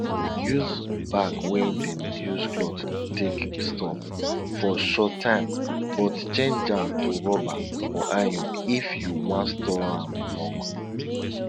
use bag wey dem use cloth take store for short time but change am to rubber or iron if you wan store am long